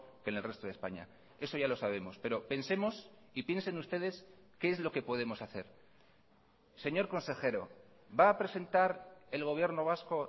que en el resto de españa eso ya lo sabemos pero pensemos y piensen ustedes qué es lo que podemos hacer señor consejero va a presentar el gobierno vasco